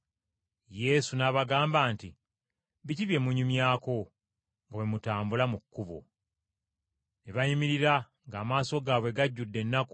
Yesu n’abagamba nti, “Biki bye munyumyako nga bwe mutambula mu kkubo?” Ne bayimirira ng’amaaso gaabwe gajjudde ennaku.